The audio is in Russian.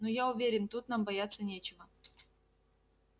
ну я уверен тут нам бояться нечего